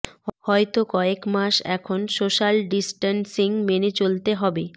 হয়ত কয়েক মাস এখন সোশ্যাল ডিসট্যান্সিং মেনে চলতে হবে